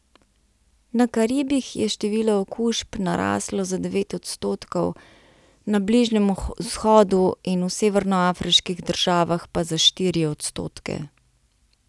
Na Karibih je število okužb naraslo za devet odstotkov, na Bližnjem vzhodu in v severnoafriških državah pa za štiri odstotke.